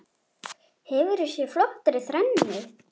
Hefur þú séð flottari þrennu?